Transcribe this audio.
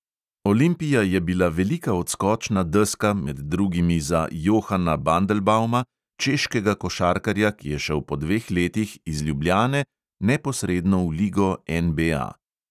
Olimpija je bila velika odskočna deska med drugimi za johana bandelbauma, češkega košarkarja, ki šel je po dveh letih iz ljubljane neposredno v ligo NBA.